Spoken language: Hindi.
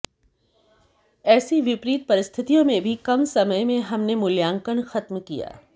ऐसी विपरीत परिस्थितियों में भी कम समय में हमने मूल्यांकन खत्म किया